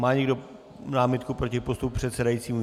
Má někdo námitku proti postupu předsedajícího?